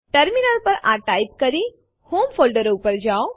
terminal પર આ type કરી હોમ ફોલ્ડર ઉપર જાઓ